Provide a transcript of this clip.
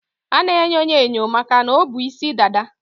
A na-enyo ya enyo makana o bu isi dada.